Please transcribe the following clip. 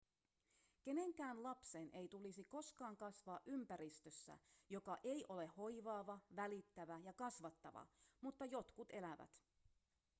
kenenkään lapsen ei tulisi koskaan kasvaa ympäristössä joka ei ole hoivaava välittävä ja kasvattava mutta jotkut elävät